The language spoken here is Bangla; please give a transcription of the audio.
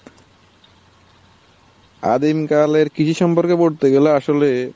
আদিম কালের কৃষি সম্পর্কে বলতে গেলে আসলে,